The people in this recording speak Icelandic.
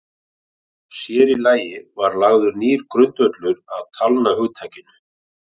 Sér í lagi var lagður nýr grundvöllur að talnahugtakinu.